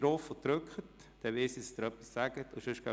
So weiss ich, dass Sie etwas sagen wollen.